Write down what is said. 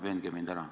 Veenge mind ära.